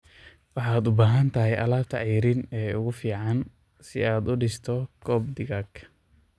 Waxaad u baahan tahay alaabta ceeriin ee ugu fiican si aad u dhisto coop digaag.